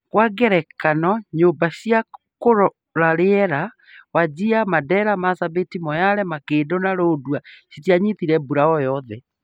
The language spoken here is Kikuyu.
Kwa ngerekano, nyumba cia kũrora rĩera Wajir, Mandera, Marsabit, Moyale, Makindu na Lodwar citianyitire mbura o yothe